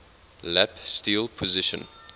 lap steel position